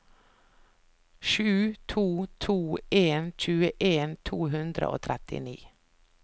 sju to to en tjueen to hundre og trettini